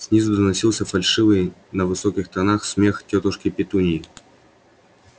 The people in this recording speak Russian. снизу доносился фальшивый на высоких нотах смех тётушки петуньи